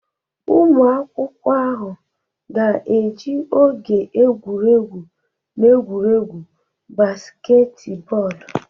Ụmụ akwụkwọ ahụ ga-eji oge egwuregwu na egwuregwu basketball